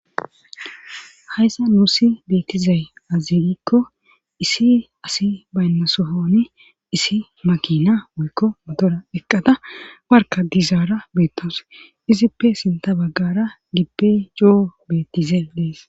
Haayssa nuussi beetizay aze gikko issi asi baynnasohoni issi makina wuykko mottora eqqada warka dizara beettawus izippe sintta baggara gibbey coo beettishshe dees